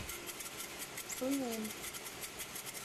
суйнин